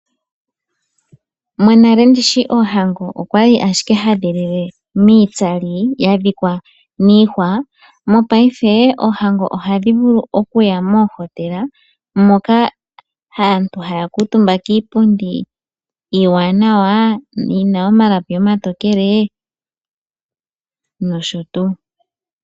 Monale ndishi oohango okwali ashike ha dhi lile iitsali yadhikwa niihwa ,mopayife oohango oha dhi vulu oku ya moo hotela moka aantu haya kuutumba kiipundi iiwanawa yina omalapi omatokele nosho tuu.